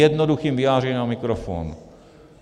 Jednoduchým vyjádřením na mikrofon.